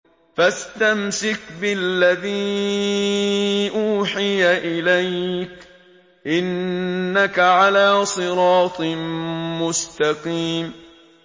فَاسْتَمْسِكْ بِالَّذِي أُوحِيَ إِلَيْكَ ۖ إِنَّكَ عَلَىٰ صِرَاطٍ مُّسْتَقِيمٍ